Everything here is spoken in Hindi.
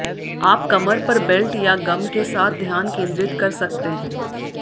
आप कमर पर बेल्ट या गम के साथ ध्यान केंद्रित कर सकते हैं